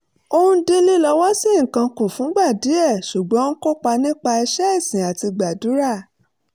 ó dín lílọ́wọ́sí nǹkan kù fúngbà díẹ̀ ṣùgbọ́n ó ń kópa nípa iṣẹ́ ìsìn àti gbàdúrà